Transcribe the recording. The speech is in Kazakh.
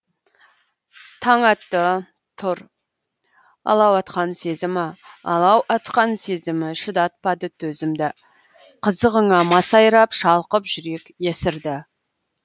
таң атты тұр алау атқан сезімі алау атқан сезімі шыдатпады төзімді қызығыңа масайрап шалқып жүрек есірді